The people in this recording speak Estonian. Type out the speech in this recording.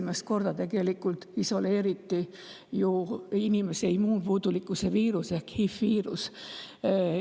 1983. aastal isoleeriti esimest korda inimese immuunpuudulikkuse viirus ehk HI‑viirus.